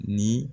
Ni